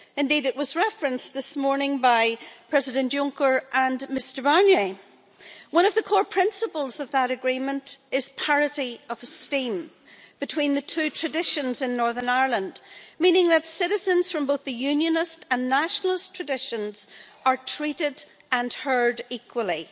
Indeed it was referenced this morning by President Juncker and Mr Barnier. One of the core principles of that agreement is parity of esteem between the two traditions in Northern Ireland, meaning that citizens from both the Unionist and nationalist traditions are treated and heard equally.